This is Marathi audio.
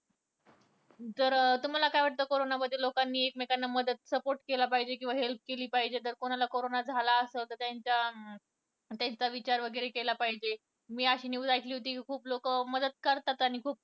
जर तुम्हाला काय वाटतं कि करोना मध्ये लोकांनि एकमेकांना मदत किंवा support केला पाहिजे किंवा help केली पाहिजे तर कोणाला करोना झाला असेल तर त्यांचा विचार वैगरे केला पाहिजे मी news ऐकली होती कि खुप लोक मदत करतात आणि खुप